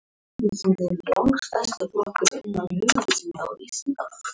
Ég held að ég eigi eftir að smella vel inn í liðið.